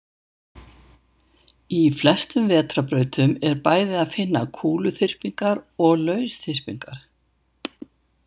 Í flestum vetrarbrautum er bæði að finna kúluþyrpingar og lausþyrpingar.